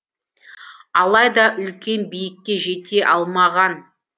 алайда үлкен биікке жете алмаған